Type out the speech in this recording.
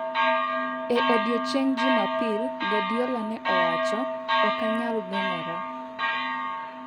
E odiechieng' Jumapil, Guardiola ne owacho: "Ok anyal geng'ora.